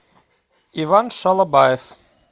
иван шалобаев